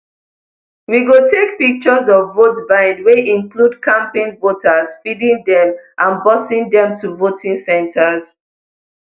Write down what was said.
we go take pictures of votebuying wey include camping voters feeding dem and busing dem to voting centres